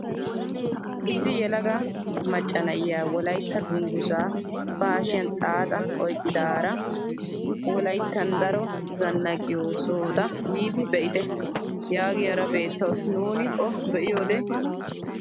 Issi yelaga maccana'iyaa wolaytta dunguzaa ba hashshiyaan xaaxa oyqqidaara wolayttan daro zanaqqiyoo sohota yiidi be'ite yaagiyaara beettawus nuuni o be'iyoode.